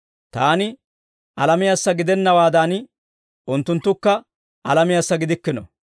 Taani alamiyaassa gidennawaadan, unttunttukka alamiyaassa gidikkino.